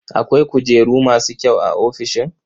Akwai kujeru masu kyau a ofishin?